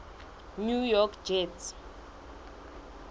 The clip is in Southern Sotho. new york jets